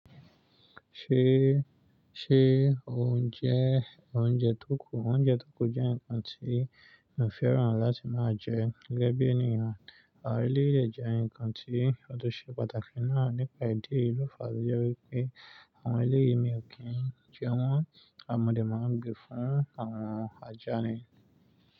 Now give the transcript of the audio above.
Ṣé, Ṣé ò ńjẹ́ oúnjẹ tó kù? Oúnjẹ tó kù jẹ́ ǹkan tí mi ò fẹ́ràn láti máa jẹ. Gẹ́gẹ́ bí ènìyàn, àwọn eléyìí lè jẹ́ ǹkan tí, ǹkan tó ṣe pàtàkì náà nípa ìdí èyí ló fàá tó jẹ́ wípé àwọn eléyìí mi ò kí n jẹ won. À Modẹ̀ máa ń gbe fún àwọn ajá ni.